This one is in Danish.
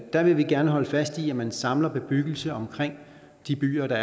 der vil vi gerne holde fast i at man samler bebyggelse omkring de byer og